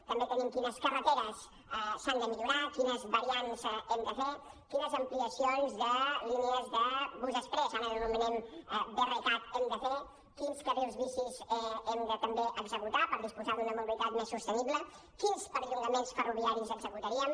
també tenim quines carreteres s’han de millorar quines variants hem de fer quines ampliacions de línies de bus exprés ara les anomenem brcat hem de fer quins carrils bici hem de també executar per disposar d’una mobilitat més sostenible quins perllongaments ferroviaris executaríem